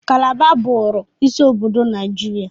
Kalaba bụụrụ isi obodo Naijiria.